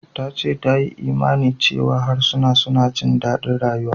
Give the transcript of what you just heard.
Ta ce ta yi imanin cewa harsuna suna jin daɗin rayuwa.